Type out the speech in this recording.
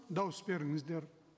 дауыс беріңіздер